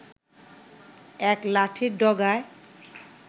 এক লাঠির ডগায়